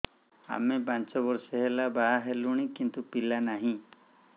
ଆମେ ପାଞ୍ଚ ବର୍ଷ ହେଲା ବାହା ହେଲୁଣି କିନ୍ତୁ ପିଲା ନାହିଁ